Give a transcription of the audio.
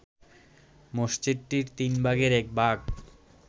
মসজিদটির তিনভাগের একভাগ